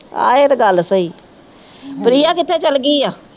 ਆਹੋ ਇਹ ਤਾ ਗੱਲ ਸਹੀ। ਪ੍ਰਿਆ ਕਿੱਥੇ ਚਲ ਗਈ ਆ?